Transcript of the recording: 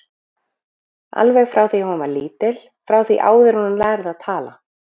Alveg frá því að hún var lítil, frá því áður en hún lærði að tala.